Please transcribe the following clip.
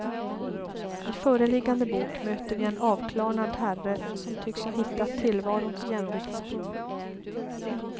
I föreliggande bok möter vi en avklarnad herre som tycks ha hittat tillvarons jämviktspunkt.